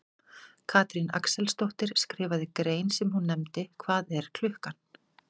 Katrín Axelsdóttir skrifaði grein sem hún nefndi Hvað er klukkan?